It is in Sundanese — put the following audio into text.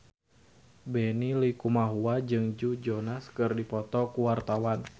Benny Likumahua jeung Joe Jonas keur dipoto ku wartawan